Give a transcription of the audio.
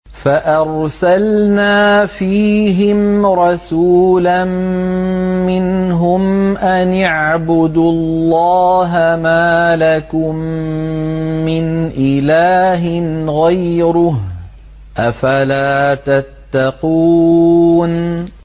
فَأَرْسَلْنَا فِيهِمْ رَسُولًا مِّنْهُمْ أَنِ اعْبُدُوا اللَّهَ مَا لَكُم مِّنْ إِلَٰهٍ غَيْرُهُ ۖ أَفَلَا تَتَّقُونَ